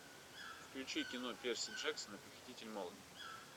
включи кино перси джексон похититель молний